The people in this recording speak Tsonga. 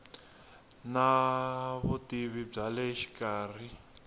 na vutivi bya le xikarhi